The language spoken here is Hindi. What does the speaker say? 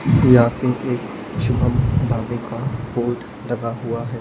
यहां पे एक शुभम ढाबे का बोर्ड लगा हुआ है।